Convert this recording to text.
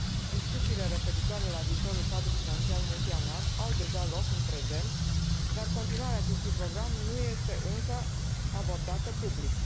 Discuțiile referitoare la viitorul cadru financiar multianual au deja loc în prezent, dar continuarea acestui program nu este încă abordată public.